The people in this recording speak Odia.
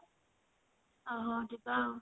ଓ ହଉ ଯିବା ଆଉ